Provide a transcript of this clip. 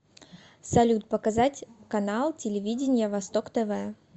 салют показать канал телевидения восток тв